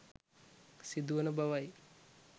සිදු වන බවයි